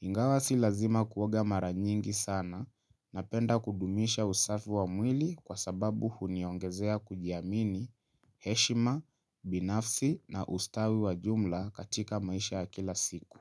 Ingawasi lazima kuwaga maranyingi sana na penda kudumisha usafi wa mwili kwa sababu huniongezea kujiamini heshima, binafsi na ustawi wa jumla katika maisha ya kila siku.